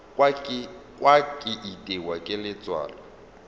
kwa ke itiwa ke letswalo